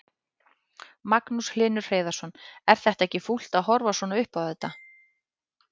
Magnús Hlynur Hreiðarsson: Er þetta ekki fúlt að horfa svona upp á þetta?